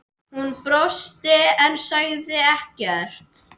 Hún brosti en sagði ekkert.